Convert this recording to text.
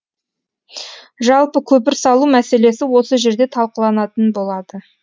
жалпы көпір салу мәселесі осы жерде талқыланатын болады